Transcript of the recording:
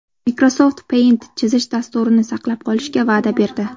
Microsoft Paint chizish dasturini saqlab qolishga va’da berdi.